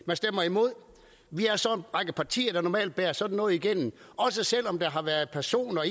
man stemmer imod vi er så en række partier der normalt bærer sådan noget igennem også selv om der har været personer